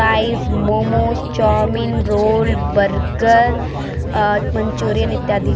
Fries momos chow mein roll burger आ Manchurian इत्यादि।